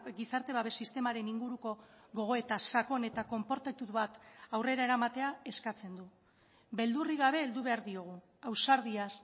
gizarte babes sistemaren inguruko gogoeta sakon eta konportatu bat aurrera eramatea eskatzen du beldurrik gabe heldu behar diogu ausardiaz